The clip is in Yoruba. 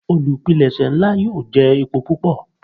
Olupilẹṣẹ nla yoo jẹ epo pupọ.